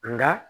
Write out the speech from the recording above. Nka